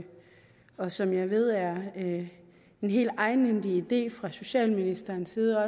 og som jeg ved er en helt egenhændig idé fra socialministerens side